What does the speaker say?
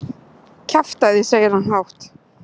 Kjaftæði, segir hann hátt.